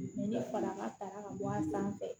Ne fa ka sara ka bɔ a sanfɛ